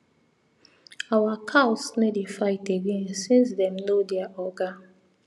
our cows no dey fight again since dem know their oga